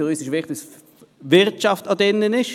Für uns ist es wichtig, dass die Wirtschaft erwähnt wird.